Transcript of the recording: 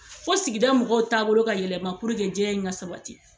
Fo sigida mɔgɔw taabolo ka yɛlɛma puruke jɛya in ka sabati.